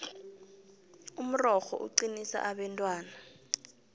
umrorho uqinisa abentwana